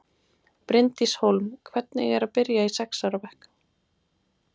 Bryndís Hólm: Hvernig er að byrja í sex ára bekk?